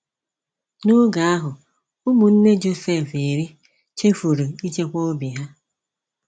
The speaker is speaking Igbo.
N'oge ahụ Ụmụnne Josef irí chefuru ichekwa obi ha.